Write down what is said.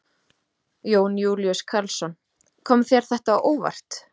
Jón Júlíus Karlsson: Kom þér þetta á óvart?